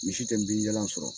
misi tɛ bin jalan sɔrɔ.